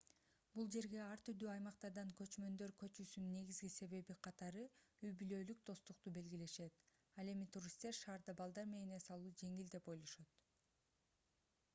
бул жерге ар түрдүү аймактардан көчкөндөр көчүүсүнүн негизги себеби катары үй-бүлөлүк достукту белгилешет ал эми туристтер шаарда балдар менен эс алуу жеңил деп ойлошот